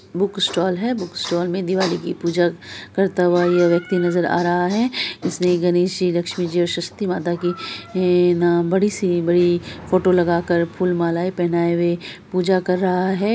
Book stall है book stall में दिवाली की पूजा करता हुआ ये व्यक्ति नजर आ रहा है| इसने गणेश जी लक्ष्मी जी और सरस्वती माता की बड़ी-सी बड़ी फोटो लगा कर फुल-माला पहनाये पूजा कर रहा है।